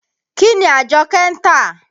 Kí ni Àjọ́kẹ́ ń tà?